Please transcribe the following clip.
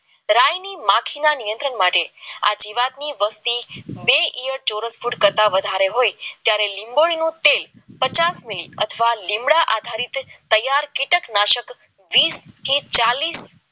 રાયની માટીના નિયંત્રણ માટે આ જીવાતની વસ્તી બે ચોરસ ફૂટ કરતા વધારે હોય ત્યારે લીંબોડીનું તેલ પચાસ કિલો અથવા લીમડા થી જંતુનાશક વીસ ત્રીસ ચાલીસ